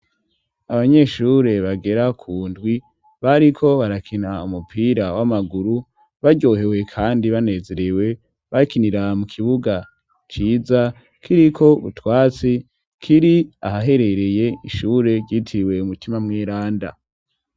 Abanyeshure bagera ku ndwi bariko barakina umupira w'amaguru baryohewe kandi banezerewe bakinira mu kibuga ciza kiriko utwatsi kiri ahaherereye ishure ryitiwe mutima mw'iranda.